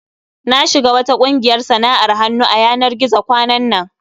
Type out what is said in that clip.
Na shiga wata ƙungiyar sana'ar hannu a yanar gizo kwanan nan.